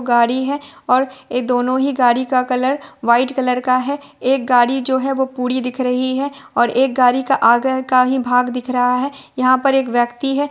गाड़ी है और ए दोनो ही गाड़ी का कलर वाइट कलर का है एक गाड़ी जो है वो पुरी दिख रही है और एक गाड़ी का आगह का ही भाग दिख रहा है यहाँ पर एक व्यक्ति है।